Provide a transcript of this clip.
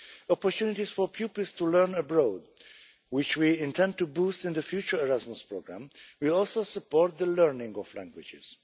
Opportunities for pupils to learn abroad, which we intend to boost in the future Erasmus programme, will also support the learning of languages.